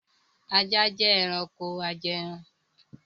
Ajá jẹ́ ẹranko ajẹẹran